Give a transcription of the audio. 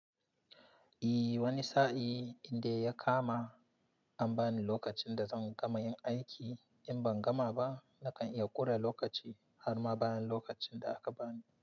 I wani sa'in idan ya kama an bani lokacin da zan gama yin aiki in ban gama ba nakan iya ƙura lokaci har ma bayan lokacin da aka bani.